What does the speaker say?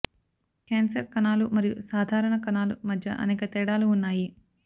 cancer కణాలు మరియు సాధారణ కణాలు మధ్య అనేక తేడాలు ఉన్నాయి